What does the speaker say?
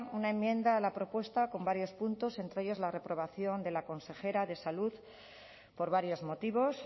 una enmienda a la propuesta con varios puntos entre ellos la reprobación de la consejera de salud por varios motivos